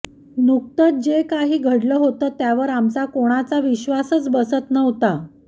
नुकतच जे काही घडलं होतं त्यावर आमचा कोणाचा विश्वासच बसत नव्हता